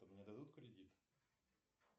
мне дадут кредит